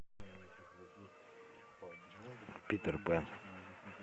питер пэн